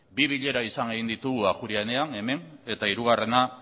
bi bilera egin izan ditugu ajuria enean hemen eta hirugarrena